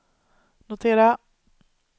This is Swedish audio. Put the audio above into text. notera